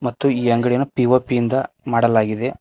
ಮತ್ತು ಈ ಅಂಗಡಿಯನ್ನು ಪಿ_ಒ_ಪಿ ಯಿಂದ ಮಾಡಲಾಗಿದೆ.